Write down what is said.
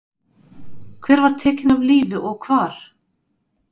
Hver var tekin af lífi og hvar?